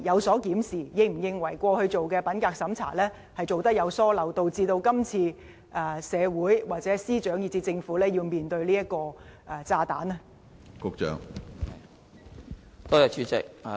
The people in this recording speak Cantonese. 政府是否認為過去進行的品格審查有疏漏，導致今次社會、司長以至政府要面對這個炸彈？